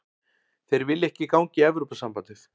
Þeir vilja ekki ganga í Evrópusambandið